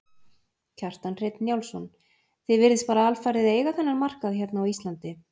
Kjartan Hreinn Njálsson: Þið virðist bara alfarið eiga þennan markað hérna á Íslandi?